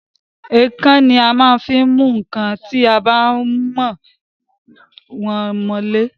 Èèkàn ni a maá ń fí mú nkán ti a bá wọ̀n mọ ilé